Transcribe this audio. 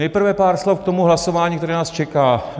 Nejprve pár slov k tomu hlasování, které nás čeká.